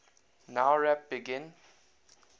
nowrap begin